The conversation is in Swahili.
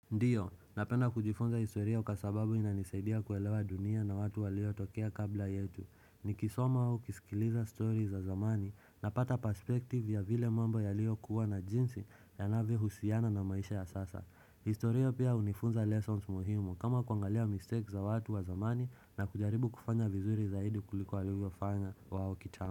Ndio, napenda kujifunza historia kwa sababu inanisaidia kuelewa dunia na watu walio tokea kabla yetu. Nikisoma au nikisikiliza story za zamani napata perspective ya vile mambo yaliyokuwa na jinsi yanavyohusiana na maisha ya sasa. Historia pia hunifunza lessons muhimu kama kuangalia mistakes za watu wa zamani na kujaribu kufanya vizuri zaidi kuliko walivyofanya wao kitambo.